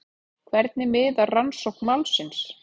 Hvernig miðar rannsókn málsins?